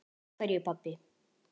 Af hverju, pabbi?